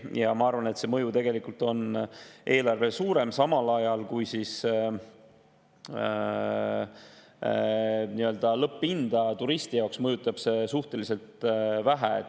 Ja ma arvan, et see mõju eelarvele on tegelikult suurem, samal ajal kui lõpphinda turisti jaoks mõjutab see suhteliselt vähe.